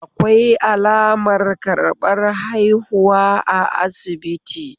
Akwai alamar karbar haihuwa a asibiti.